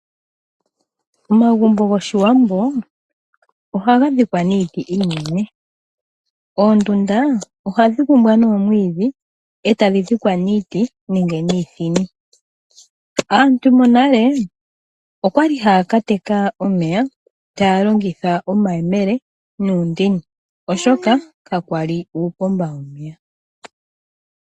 Omagumbo goshiwambo, ohaga dhikwa niiti iinene. Oondunda ohadhi kumbwa noomwiidhi etadhi dhikwa niiti nenge niithini. Aantu monale okwali haya kateka omeya taya longitha omayemele nuundini oshoka ka kwali uupomba womeya.